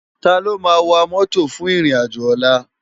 Táló má wá mòtó fún irin ájò òlà?